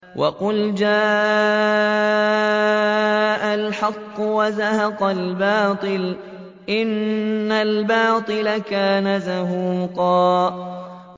وَقُلْ جَاءَ الْحَقُّ وَزَهَقَ الْبَاطِلُ ۚ إِنَّ الْبَاطِلَ كَانَ زَهُوقًا